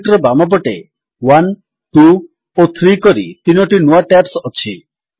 sheet ର ବାମପଟେ 1 2ଓ 3 କରି 3ଟି ନୂଆ ଟ୍ୟାବ୍ସ ଅଛି